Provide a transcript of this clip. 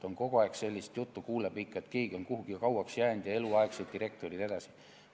Kogu aeg kuuleb sellist juttu, et keegi on kuhugi kauaks jäänud, eluaegsed direktorid jne.